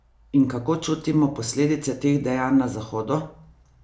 In kako čutimo posledice teh dejanj na Zahodu?